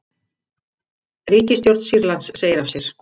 Ríkisstjórn Sýrlands segir af sér